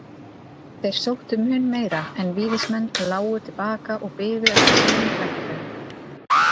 Þeir sóttu mun meira en Víðismenn lágu til baka og biðu eftir sínum tækifærum.